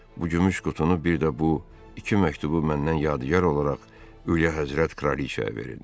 Bu gümüş qutunu bir də bu iki məktubu məndən yadgar olaraq Ülyahəzrət Kralıçaya verin.